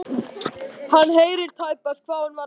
Hann heyrði tæpast hvað hún var að fjasa.